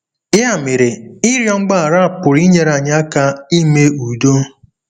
Ya mere, ịrịọ mgbaghara pụrụ inyere anyị aka ime udo.